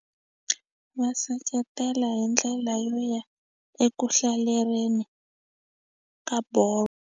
Va seketela hi ndlela yo ya eku hlalereni ka bolo.